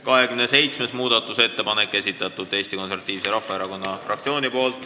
27. muudatusettepaneku on esitanud Eesti Konservatiivse Rahvaerakonna fraktsioon.